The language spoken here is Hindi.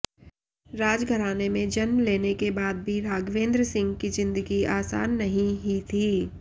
राजघराने में जन्म लेने के बाद भी राघवेंद्र सिंह की जिंदगी आसान नहीं ही थी